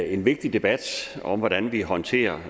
en vigtig debat om hvordan vi håndterer